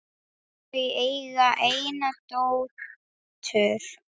Þau eiga eina dóttur.